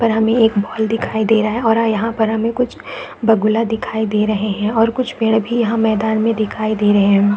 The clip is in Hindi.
पर हमें एक बॉल दिखाई दे रहा है और यहाँ पर हमें कुछ बगुला दिखाई दे रहे है और कुछ पेड़ भी यहाँ मैदान में दिखाई दे रहे है।